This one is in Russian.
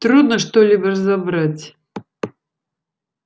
трудно что-либо разобрать